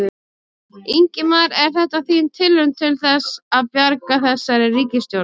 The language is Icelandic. Ingimar: Er þetta þín tilraun til þess að bjarga þessari ríkisstjórn?